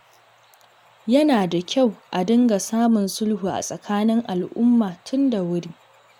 Yana da kyau a dinga samun sulhu a tsakanin al'umma, tun da wuri.